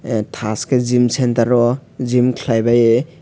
tash ke gym centre ro gym kelai bai oe.